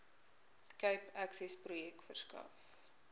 cape accessprojek verskaf